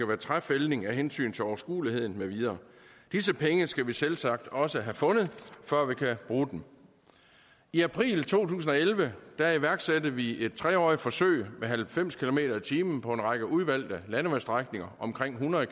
være træfældning af hensyn til overskueligheden med videre disse penge skal vi selvsagt også have fundet før vi kan bruge dem i april to tusind og elleve iværksatte vi et treårigt forsøg med halvfems kilometer per time på en række udvalgte landevejsstrækninger omkring hundrede